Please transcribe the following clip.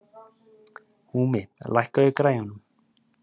Húmi, lækkaðu í græjunum.